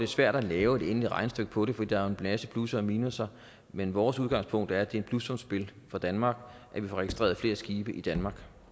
svært at lave et endeligt regnestykke på det for der er jo en masse plusser og minusser men vores udgangspunkt er at det er et plussumsspil for danmark at vi får registreret flere skibe i danmark